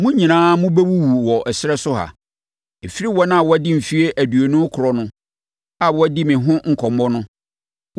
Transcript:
Mo nyinaa mobɛwuwu wɔ ɛserɛ so ha: Ɛfiri wɔn a wɔadi mfeɛ aduonu rekorɔ no a wɔadi me ho nkɔmmɔ no,